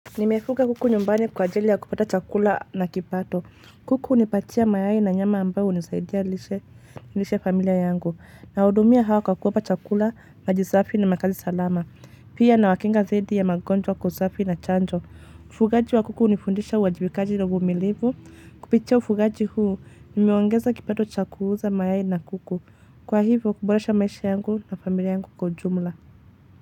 Nimefuga kuku nyumbani kwa ajili ya kupata chakula na kipato. Kuku hunipatia mayai na nyama ambayo unisaidia lishe familia yangu. Nahudumia hawa kwa kuwapa chakula, maji safi na makazi salama. Pia nawakinga dhidi ya magonjwa usafi na chanjo. Ufugaji wa kuku unifundisha uajibikaji na uvumilivu. Kupitia ufugaji huu, nimeongeza kipato cha kuuza mayai na kuku. Kwa hivyo, kuboresha maisha yangu na familia yangu kwa jumla.